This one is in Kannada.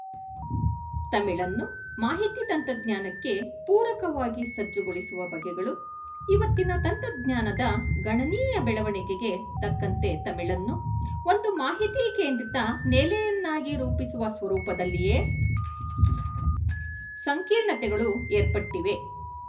ತಮಿಳನ್ನು ಮಾಹಿತಿ ತಂತ್ರಜ್ಞಾನಕ್ಕೆ ಪೂರಕವಾಗಿ ಸಜ್ಜುಗೊಳಿಸುವ ಬಗೆಗಳು ಇವತ್ತಿನ ತಂತ್ರಜ್ಞಾನದ ಗಣನೀಯ ಬೆಳವಣಿಗೆಗೆ ತಕ್ಕಂತೆ ತಮಿಳನ್ನು ಒಂದು ಮಾಹಿತಿಕೇಂದ್ರಿತ ನೆಲೆಯನ್ನಾಗಿ ರೂಪಿಸುವ ಸ್ವರೂಪದಲ್ಲಿಯೇ ಸಂಕೀರ್ಣತೆಗಳು ಏರ್ಪಟ್ಟಿವೆ